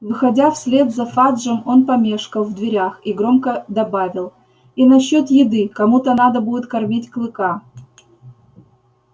выходя вслед за фаджем он помешкал в дверях и громко добавил и насчёт еды кому-то надо будет кормить клыка